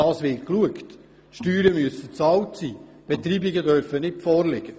Die Steuern müssen bezahlt sein und es dürfen keine Beitreibungen vorliegen.